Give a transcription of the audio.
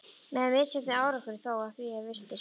Með misjöfnum árangri þó, að því er virtist.